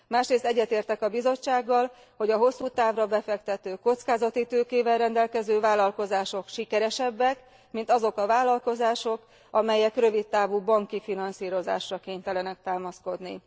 Másrészt egyetértek a Bizottsággal, hogy a hosszú távra befektető, kockázati tőkével rendelkező vállalkozások sikeresebbek, mint azok a vállalkozások, amelyek rövid távú banki finanszírozásra kénytelenek támaszkodni.